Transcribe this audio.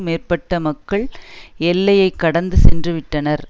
மேற்பட்ட மக்கள் எல்லையைக்கடந்து சென்றுவிட்டனர்